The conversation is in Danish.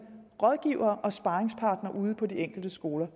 rådgivere og sparringspartnere ude på de enkelte skoler